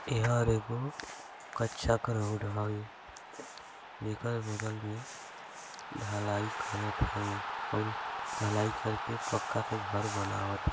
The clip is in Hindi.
इहा एगो कच्चा का रोड हवे एकर बगल में ढलाई करत है और ढलाई करके पक्का का घर बनावत--